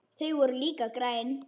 Þau voru líka græn.